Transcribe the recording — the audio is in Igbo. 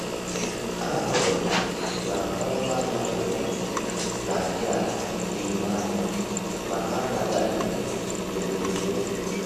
Ahụrụ m na ọnụ ahịa tomato n'adị ala n'ime ahịa, ma ha anaghị adịgide ogologo oge.